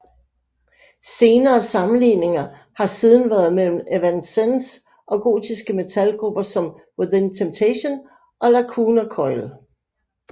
Senere sammenligninger har siden været mellem Evanescence og gotiske metal grupper som Within Temptation og Lacuna Coil